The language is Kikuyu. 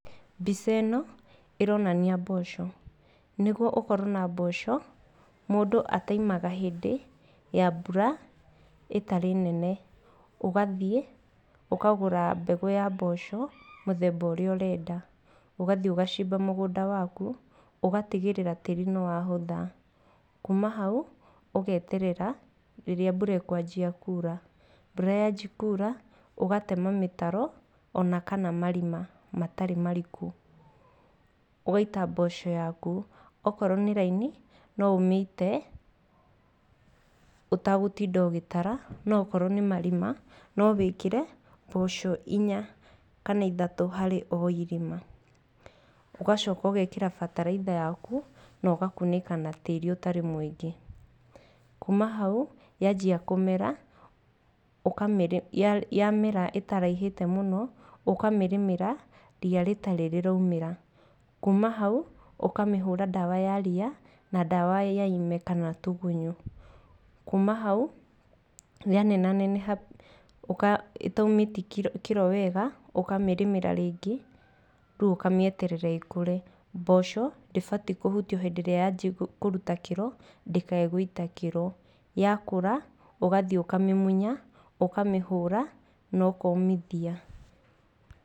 Mbica ĩno ĩronania mboco, nĩguo ũkorwo na mboco mũndũ ataimaga hĩndĩ ya mbura ĩtarĩ nene. Ũgathiĩ ũkagũra mbegũ ya mboco mũthemba ũrĩa ũrenda. Ũgathiĩ ũgacimba mũgũnda waku ũgatigĩrĩra tĩri nĩwahũtha. Kuma hau ũgeterera rĩrĩa mbura ĩkwanjia kura, mbura yanjia kura ũgatema mĩtaro ona kana marima matarĩ mariku. Ũgaita mboco yaku akorwo nĩ raini no ũmĩite ũtagũtinda ũgĩtara, no akorwo nĩ marima no wĩkĩre mboco inya kana ithatũ harĩ o irima. Ũgacoka ũgekĩra bataraitha yaku na ũgakunĩka na tĩri ũtarĩ mũingĩ. Kuma hau yanjia kũmera yamera ĩtaraihĩte mũno ũkamĩrĩmĩra riya rĩtarĩ rĩraumĩra. Kuma hau ũkamĩhũra ndawa ya riya na ndawa ya ime kana ya tũgunyũ. Kuma hau yanenaneneha ĩtaumĩtie kĩro wega ũkamĩrĩmĩra rĩngĩ rĩu ũkamĩeterera ĩkũre. Mboco ndĩbatiĩ kũhutio hĩndĩ ĩrĩa yajia kũruta kĩro, ndĩkae gũita kĩro. Yakũra ũgathiĩ ũkamĩmuya ũkamĩhũra na ũkaũmithia.